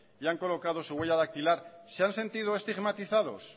y han colocado su huella dactilar se han sentido estigmatizados